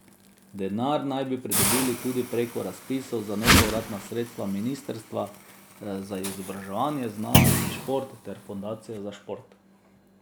Denar naj bi pridobili tudi preko razpisov za nepovratna sredstva ministrstva za izobraževanje, znanost in šport ter Fundacije za šport.